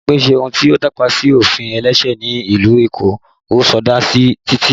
Bímpé ṣe ohun tí ó tàpá sí ofin ẹlẹ́sẹ̀ ni ìlú Èkó, ó sọdá títì